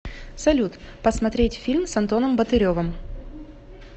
салют посмотреть фильм с антоном ботыревом